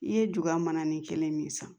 I ye juya mana ni kelen min san